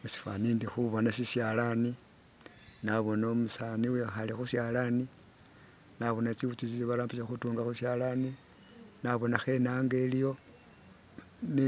Musifani indi khubona sishalani, nabona umusaani uwikhale khushalani, nabona tsiwutsi tsesi barambisa khutunga khushalani nabonakho inaanga iliwo ne